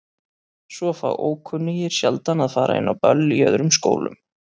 Svo fá ókunnugir sjaldan að fara inn á böll í öðrum skólum.